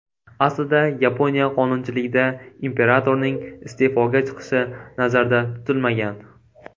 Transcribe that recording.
Aslida Yaponiya qonunchiligida imperatorning iste’foga chiqishi nazarda tutilmagan.